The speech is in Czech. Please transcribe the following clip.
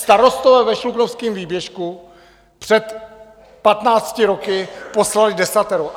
Starostové ve Šluknovském výběžku před patnácti lety poslali desatero.